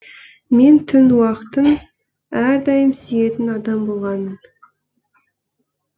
мен түн уақытын әрдайым сүйетін адам болғанмын